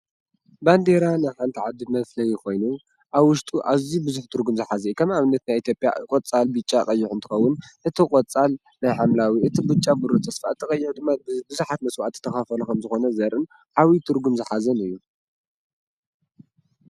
ባንዴራ ናይ ሓንቲ ዓዲ መፍለይ ኮይኑ ኣብ ውሽጡ ኣብ ኣዝዩ ብዙሕ ትርጉም ዝሓዘ እዩ፡፡ ከም ኣብነት ናይ ኢትዮጵያ ቆፃል፣ ብጫ፣ ቀይሕ እንትኸውን እቲ ቆፃል ናይ ሓምላዊ፣ እቲ ብጫ ብሩህ ተስፋ፣ እቲ ቀይሕ ብዙሓት መስዋእትታት ተኸፈሉ ከምዝኾኑ ዘርኢ ዓብይ ትርጉም ዝሓዘን እዩ፡፡